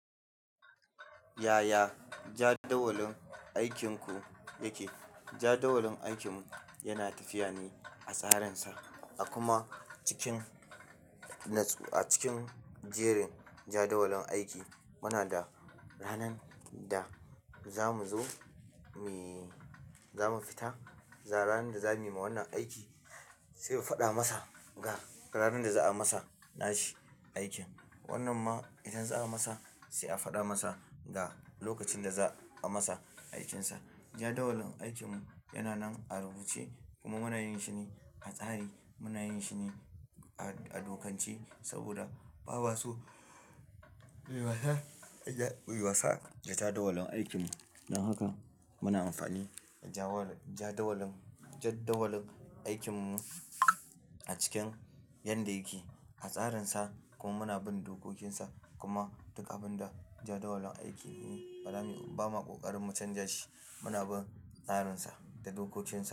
Yaya jadawalin aikinku yake? Jadawalin aikin yana tafiya ne a tsarinsa a kuma cikin a cikin jerin jadawalin aiki muna da ranan da zamu zo muyi, zamu fita ranar da za muyi ma wannan aiki sai mu fada masa ga ranar da za a masa na shi aiki wannan ma idan za a masa sai a faɗa masa ga lokacin da za a masa aikinsa. Jadawalin aikin yana nan a rubuce kuma muna yin shine a tsari, muna yin shine a, a dokanci saboda ba wa su wiwasa, wiwasa ga jadawalin aikin. Don haka muna amfani da jawal-- jadawalin, jadawalin aikin mu a cikin yanda yake a tsarinsa kuma muna bin dokokinsa kuma duk abin da jadawalin aikin yi ba ma ƙoƙarin mu canja shi, muna bin tsarinsa da dokokinsa.